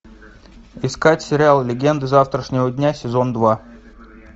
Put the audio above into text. искать сериал легенды завтрашнего дня сезон два